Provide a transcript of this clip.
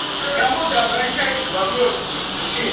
к кому ты обращаешься во множественном числе обращайся